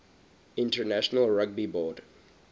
international rugby board